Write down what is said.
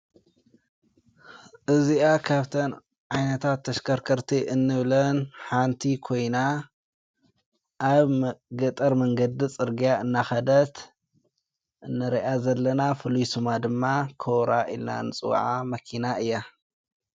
እዚኣ ካብተን ዓይነታት ተሽከርከርቲ እንብለን ሓንቲ ኮይና ኣብ ገጠር መንገዲ ጽርግያ እናኸደት እንርያ ዘለና ፍልይ ስማ ድማ ኰብራ ኢላና ንጽዋዓ መኪና እያ።